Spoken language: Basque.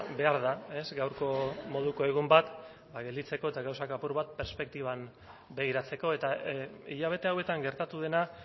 behar da gaurko moduko egun bat gelditzeko eta gauzak apur bat perspektiban begiratzeko eta hilabete hauetan gertatu dena